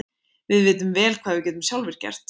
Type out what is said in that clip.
Við vitum vel hvað við getum sjálfir gert.